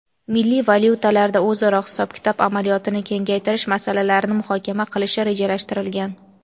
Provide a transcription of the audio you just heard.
milliy valyutalarda o‘zaro hisob-kitob amaliyotini kengaytirish masalalarini muhokama qilishi rejalashtirilgan.